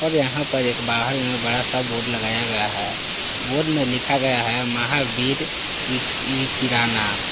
यहां पर एक बाहर मे बड़ा सा बोर्ड लगाया गया है बोर्ड में लिखा गया है महावीर इ इ किराना।